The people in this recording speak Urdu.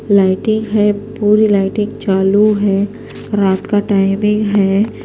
.لایٹیں ہیں پوری لائٹنگ چالو ہیں رات کا ٹائمنگ ہیں